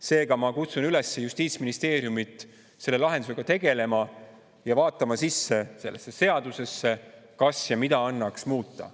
Seega, ma kutsun üles justiitsministeeriumit selle lahendusega tegelema ja vaatama sisse sellesse seadusesse, kas midagi annaks muuta.